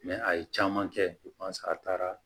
a ye caman kɛ a taara